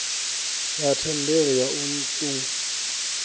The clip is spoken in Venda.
ya thendelo ya u ṱun